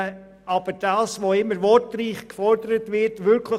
Aber die Realität sieht folgendermassen aus: